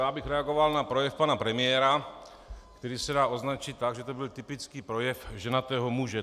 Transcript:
Já bych reagoval na projev pana premiéra, který se dá označit tak, že to byl typický projev ženatého muže.